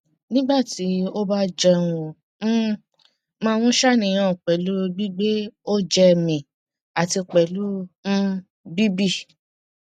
nígbà tí ó bá jẹun ó um máa ń ṣàníyàn pẹlú gbigbe oje mi àti pẹlú um bibi